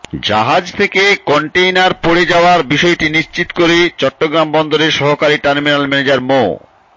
জাহাজ থেকে কন্টেইনার পড়ে যাওয়ার বিষয়টি নিশ্চিত করে চট্টগ্রাম বন্দরের সহকারী টার্মিনাল ম্যানেজার মো